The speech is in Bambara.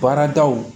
Baaradaw